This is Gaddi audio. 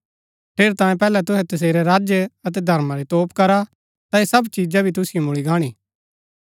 ठेरैतांये पैहलै तुहै तसेरै राज्य अतै धर्मा री तोप करा ता ऐह सब चिजा भी तुसिओ मुळी गाणी